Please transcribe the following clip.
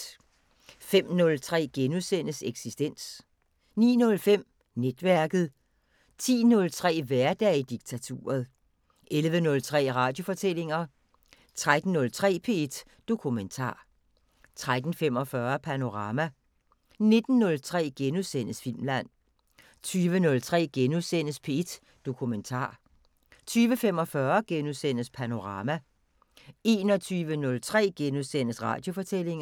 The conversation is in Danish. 05:03: Eksistens * 09:05: Netværket 10:03: Hverdag i diktaturet 11:03: Radiofortællinger 13:03: P1 Dokumentar 13:45: Panorama 19:03: Filmland * 20:03: P1 Dokumentar * 20:45: Panorama * 21:03: Radiofortællinger *